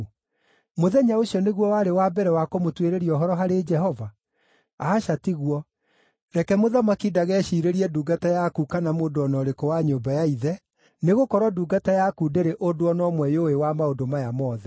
Mũthenya ũcio nĩguo warĩ wa mbere wa kũmũtuĩrĩria ũhoro harĩ Jehova? Aca tiguo! Reke mũthamaki ndageciirĩrie ndungata yaku kana mũndũ o na ũrĩkũ wa nyũmba ya ithe, nĩgũkorwo ndungata yaku ndĩrĩ ũndũ o na ũmwe yũĩ wa maũndũ maya mothe.”